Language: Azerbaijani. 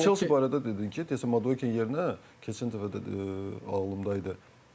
Chelsea barədə dedin ki, deyəsən Madukin yerinə keçən dəfə də ağlımda idi.